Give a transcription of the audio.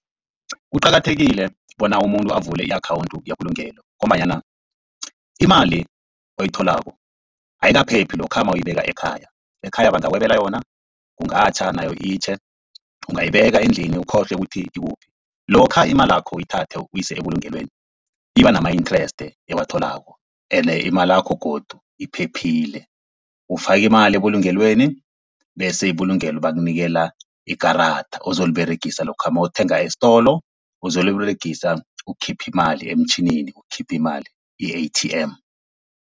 Kuqakathekile bona umuntu avule i-akhawunthu yebulungelo, ngombanyana imali oyitholako ayikaphephi lokha mawuyibeka ekhaya, ekhaya bangakwebela yona, kungatjha nayo itjhe, ungayibeka endlini ukhohlwe ukuthi ikuphi. Lokha imalakho uyithathe uyise ebulungelweni iba nama-inthreste ewatholako, ene imalakho godu iphephile ufake imali ebulungelweni bese ibulungelo bakunikela ikarada ozoliberegisa lokha nawuthenga estolo, uzoliberegisa ukukhipha imali emtjhinini, ukukhipha imali i-A_T_M.